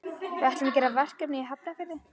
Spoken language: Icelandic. Við ætlum að gera verkefni í Hafnarfirði.